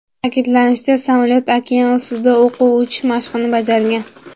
Ta’kidlanishicha, samolyot okean ustida o‘quv uchish mashqini bajargan.